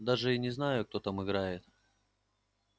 даже и не знаю кто там играет